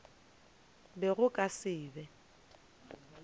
be go ka se be